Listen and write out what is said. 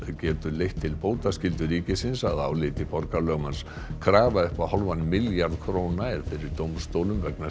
getur leitt til bótaskyldu ríkisins að áliti borgarlögmanns krafa upp á hálfan milljarð króna er fyrir dómstólum vegna